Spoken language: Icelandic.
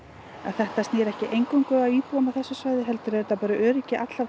þetta snýr ekki eingöngu að íbúum á þessu svæðis heldur er þetta bara öryggi allra